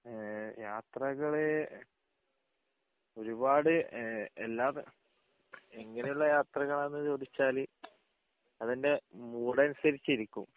ഏഹ് യാത്രകള് ഒരുപാട് ഏഹ് എല്ലാ ത എങ്ങിനെയുള്ള യാത്രകളാണ് എന്ന് ചോദിച്ചാൽ അത് എൻ്റെ മൂഡ് അനുസരിച്ച് ഇരിക്കും